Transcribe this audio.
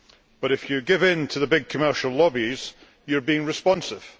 But if you give in to the big commercial lobbies, you are being responsive.